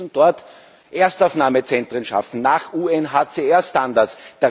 Wir müssen dort Erstaufnahmezentren schaffen nach UNHCR Standards.